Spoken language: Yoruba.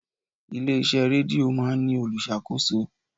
Ilé iṣẹ́ rédíò máa ń ní olùṣàkóso.